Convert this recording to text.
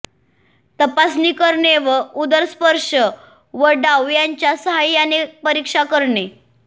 तपासणी करणे व उदर स्पर्श व दाव यांच्या साहाय्याने परीक्षा करणे